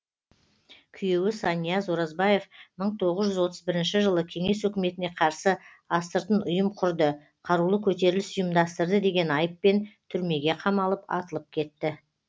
күйеуі санияз оразбаев мың тоғыз жүз отыз бірінші жылы кеңес өкіметіне қарсы астыртын ұйым құрды қарулы көтеріліс ұйымдастырды деген айыппен түрмеге қамалып атылып кетті